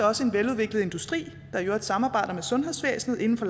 også en veludviklet industri der i øvrigt samarbejder med sundhedsvæsenet inden for